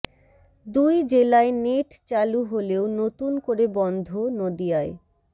দুই জেলায় নেট চালু হলেও নতুন করে বন্ধ নদিয়ায়